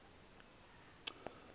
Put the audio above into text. ecala